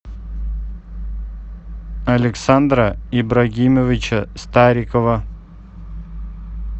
александра ибрагимовича старикова